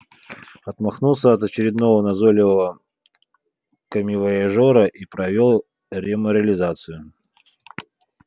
отмахнулся от очередного назойливого коммивояжёра и провёл реморализацию